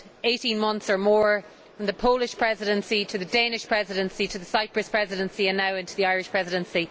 18 months or more, from the Polish Presidency to the Danish Presidency to the Cyprus Presidency and now into the Irish Presidency.